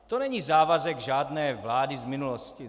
To není závazek žádné vlády z minulosti.